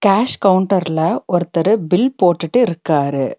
Cash கவுண்டர்ல ஒருத்தரு bill போட்டுட்டு இருக்காரு.